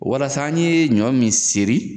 Walasa an ye ɲɔ min seri